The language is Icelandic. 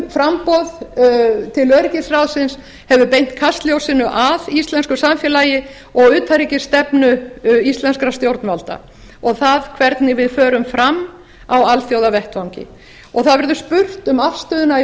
framboð til öryggisráðsins hefur beint kastljósinu að íslensku samfélagi og utanríkisstefnu íslenskra stjórnvalda og því hvernig við förum fram á alþjóðavettvangi það verður spurt um afstöðuna í